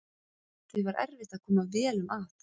Því var erfitt að koma vélum að.